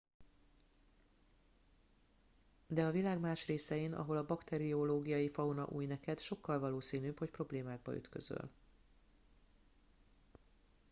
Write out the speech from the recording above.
de a világ más részein ahol a bakteriológiai fauna új neked sokkal valószínűbb hogy problémákba ütközöl